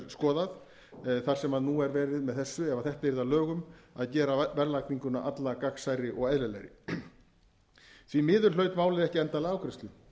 er skoðað þar sem nú er verið með þessu ef þetta yrði að lögum að gera verðlagninguna alla gagnsærri og eðlilegri því miður hlaut málið ekki endanlega afgreiðslu